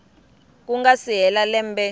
ku nga si hela lembe